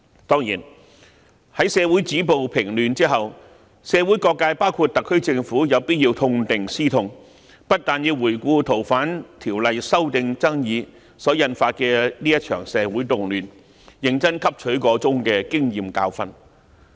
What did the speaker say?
當然，在社會止暴制亂後，社會各界包括特區政府有必要痛定思痛，要回顧修訂《逃犯條例》爭議所引發的這場社會動亂，認真汲取箇中經驗和教訓。